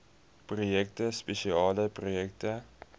projekte spesiale projekte